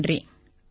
ரொம்ப நன்றி